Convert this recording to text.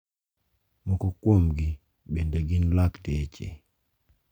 Moko kuomgi bende gin lakteche.